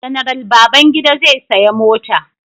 General Babangida zai saya mota.